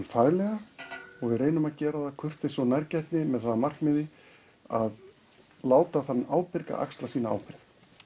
faglega og við reynum að gera það af kurteisi og nærgætni með það að markmiði að láta þann ábyrga axla sína ábyrgð